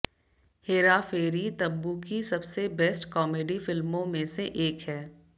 हेरा फेरी तबु की सबसे best comedy फिल्मों में से एक है